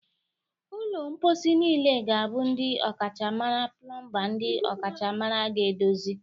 Ụlọ mposi niile ga-abụ ndị ọkachamara plọmba ndị ọkachamara ga-edozi